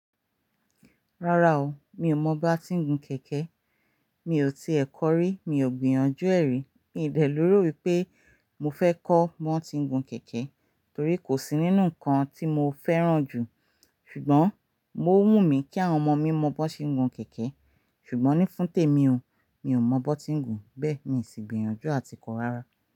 Rárá o, mi ò mọ bá ti ń gun kẹ̀kẹ́. Mi ò tiẹ̀ kọ rí, mi ò gbìyànjú ẹ̀ rí. Mi ò dẹ̀ leró wípé mo fẹ́ kọ́ bi won ti ń gun kẹ̀kẹ́ torí kò sí nínú nnkan tí mo fẹ́ràn jù. Ṣùgbọ́n mo wù mí kí àwọn ọmọ mi mọ bó se ń gun kẹ̀kẹ́. Ṣùgbọ́n ní fún tèmi o, mi ò mọ bi wón ti ń gun, bẹ́ẹ̀ mi ì sì gbìyànjú àti kọ rárá.